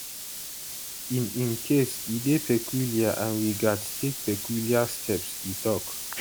in im case e dey peculiar and we gatz take peculiar steps e tok